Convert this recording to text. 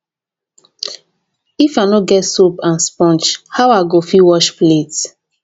if i no get soap and sponge how i go fit wash plate?